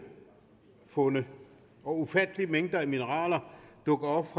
fundet og ufattelige mængder af mineraler dukker op